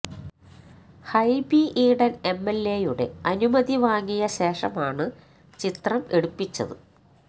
ഹൈബി ഈഡൻ എംഎൽഎയുടെ അനുമതി വാങ്ങിയ ശേഷമാണ് ചിത്രം എടുപ്പിച്ചത്